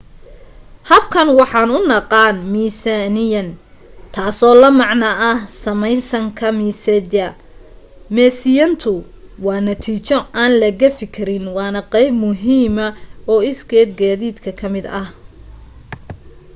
habkan waxaan u naqaan meesiyayn taasoo la macno samaysanka meesiyada meesiyayntu waa natiijo aan la gafi karin waana qayb muhiima oo isged geddiga ka mid ah